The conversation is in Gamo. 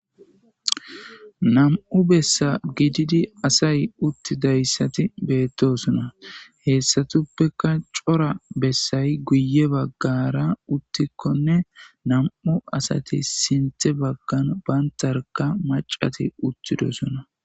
nam7u bessa gididi asay uttidayssati beettosona heethtsatuppeka cora bessay guye baggara uttikkonne nam7u asati sinthe baggan bantarka macati uttidosona